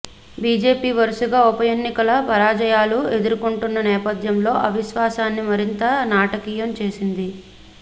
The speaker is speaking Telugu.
బిజెపి వరుసగా ఉప ఎన్నికల పరాజయాలు ఎదుర్కొంటున్న నేపథ్యం అవిశ్వాసాన్ని మరింత నాటకీయం చేసింది